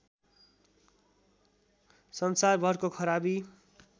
सन्सारभरको खराबी